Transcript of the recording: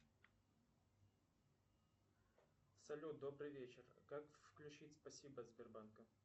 салют добрый вечер как включить спасибо от сбербанка